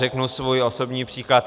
Řeknu svůj osobní příklad.